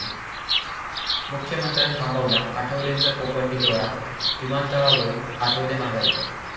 मुख्यमंत्र्यांनी थांबवला आठवलेंचा कोपर्डी दाैरा, विमानतळावरुन आठवले माघारी